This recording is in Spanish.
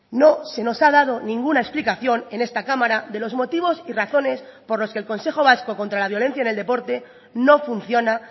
no se nos ha dado ninguna explicación en esta cámara de los motivos y razones por los que el consejo vasco contra la violencia en el deporte no funciona